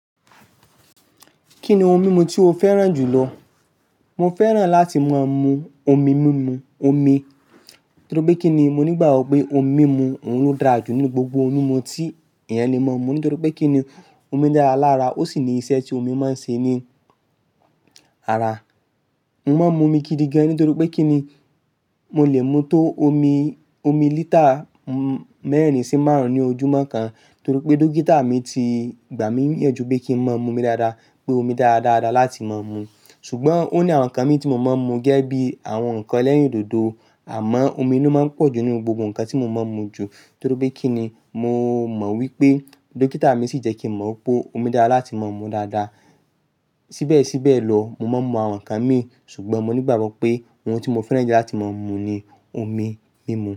Kí ni ohun mímu tí o fẹ́ràn jù lọ? Mo fẹ́ràn láti máa mu omi mímu, omi. Nítorí pé kí ni? Mo nígbàgbọ́ pé omi mímu òún dá jù nínú gbogbo ohun mímu tí èèyàn le mọ mu. Nítorí pé kí ni? Omi dára lára, ó sì ní iṣẹ́ tí omi máa ń ṣe ní ara. Mo máa ń mu omi gidi gan nítorí pé kí ni? Mo lè mu tó omi, omi lítà mẹ́rin sí márùn-ún ní ojúmọ́ kan. Nítorí pé dókítà mi ti gbà mí yànjú pé kí ń máa mu omi dáadáa, pé omi dá dáadáa láti máa mu. Ṣùgbọ́n ó ní àwọn nǹkan mí tí mo máa ń mu gẹ́gẹ́ bí àwọn nǹkan elẹ́rìndòdò. Àmọ́ omi ló máa ń pọ̀jù nínú gbogbo nǹkan tí mo máa ń mu jù. Nítorí pé kí ni? Mo mọ̀ wípé dókítà mi sì jẹ́ kí mo mọ̀ pé omi dára láti máa mu dáadáa. Síbẹ̀síbẹ̀ lọ, mo máa ń mu àwọn nǹkan mì, ṣùgbọ́n mo nígbàgbọ́ pé ohun tí mo fẹ́ràn jù láti máa mu ni omi mímu.